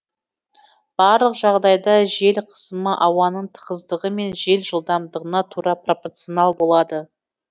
барлық жағдайда жел қысымы ауаның тығыздығы мен жел жылдамдығына тура пропорционал болады